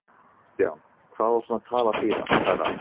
KRISTJÁN: Hvað á svona tal að þýða, herra